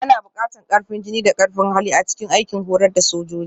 Ana buƙatar ƙarfin jiki da ƙarfin hali a cikin aikin horar da sojoji